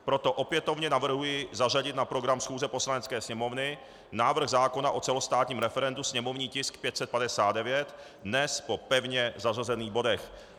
Proto opětovně navrhuji zařadit na program schůze Poslanecké sněmovny návrh zákona o celostátním referendu, sněmovní tisk 559, dnes po pevně zařazených bodech.